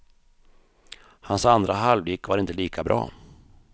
Hans andra halvlek var inte lika bra.